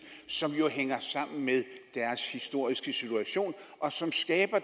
som jo hænger sammen med deres historiske situation og som